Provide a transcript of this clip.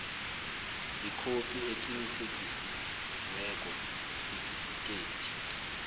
ikhophi eqinisekisiweko yesitifikethi